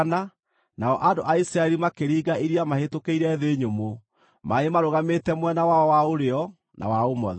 nao andũ a Isiraeli makĩringa iria mahĩtũkĩire thĩ nyũmũ, maaĩ marũgamĩte mwena wao wa ũrĩo na wa ũmotho.